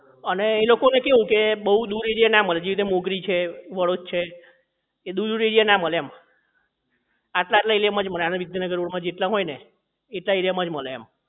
અને એ લોકો ને કેવું કે બહુ દૂર જગ્યા એ ના મળે જેવી રીતે મોગરી છે વડોદ છે એ દૂર દૂર area ના મળે એમ આટલા આટલા area માં જ મળે આણંદ વિદ્યાનગર રોડ માં જેટલા હોય ને એટલા area માં જ મળે એમ